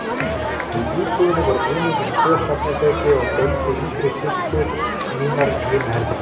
Í íbúðinni voru einungis tvö svefnherbergi og deildu yngri systur mínar hinu herberginu.